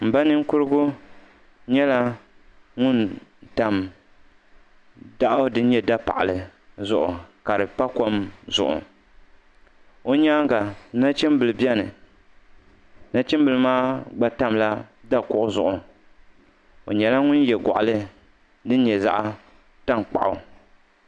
Mba ninkurigu nyɛla ŋuni tam daɣu dini nyɛ da paɣili zuɣu ka di pa kom zuɣu o yɛanga nachim bila bɛni nachim bila maa gba tamila da kuɣu zuɣu o nyɛla ŋuni ye gɔɣili dini nyɛ zaɣi taŋkpaɣu.